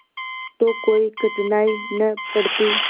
तो कोई कठिनाई न पड़ती